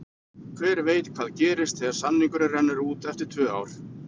Hver veit hvað gerist þegar samningurinn rennur út eftir tvö ár?